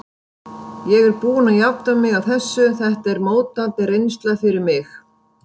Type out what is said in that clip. Ég er búinn að jafna mig á þessu, þetta var mótandi reynsla fyrir mig.